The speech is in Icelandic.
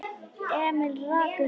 Emil rak upp lágt óp.